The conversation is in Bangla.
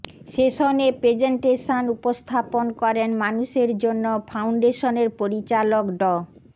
সেশনে প্রেজেন্টেশন উপস্থান করেন মানুষের জন্য ফাউন্ডেশনের পরিচালক ড